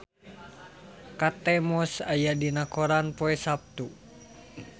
Kate Moss aya dina koran poe Saptu